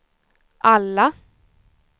alla